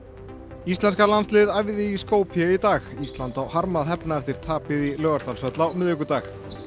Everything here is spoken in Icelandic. íslenska landsliðið æfði í Skopje í dag ísland á harma að hefna eftir tapið í Laugardalshöll á miðvikudag